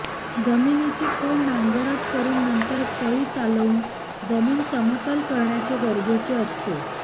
जमिनीची खोल नांगरट करून नंतर फळीचालवून जमीन समतल करणे गरजेचे असते